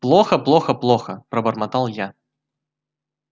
плохо-плохо-плохо пробормотал я